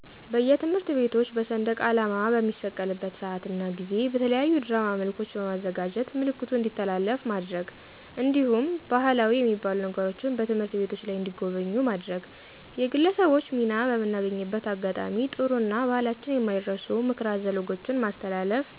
በየትምህርት ቤቶች በሰንደቃላማ በሚሰቀልበት ስአት እና ጊዜ በተለያዩ ድራማ መልኮች በማዘጋጀት ምልክቱ እንዲተላለፍ ማድረግ። እንዲሁም ባህላዊ የሚባሉ ነገሮችን በትምህርት ቤቶች ላይ እንዲጎበኙ ማድረግ ማድረግ። የግለሰቦች ሚና በምናገኝበት አጋጣሚ ጥሩ እና በህላችን የማይረሱ ምክረ አዘል ወጎችን ማስተላለፍ